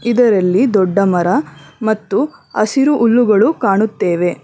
ಇದರಲ್ಲಿ ದೊಡ್ಡ ಮರ ಮತ್ತು ಹಸಿರು ಹುಲ್ಲುಗಳು ಕಾಣುತ್ತೇವೆ.